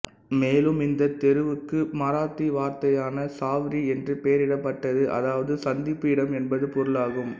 மேலும் இந்த தெருவுக்கு மராத்தி வார்த்தையான சாவ்ரி என்று பெயரிடப்பட்டது அதாவது சந்திப்பு இடம் என்பது பொருளாகும்